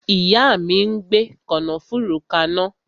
Ìyá mi ń gbe kànáfùrú kana